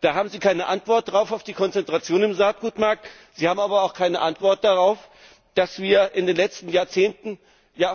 Sie haben keine Antwort auf die Konzentration im Saatgutmarkt, Sie haben aber auch keine Antwort darauf, dass wir in den letzten Jahrzehnten